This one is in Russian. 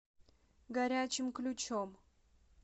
горячим ключом